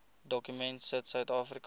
dokument sit suidafrika